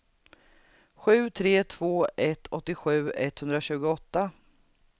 sju tre två ett åttiosju etthundratjugoåtta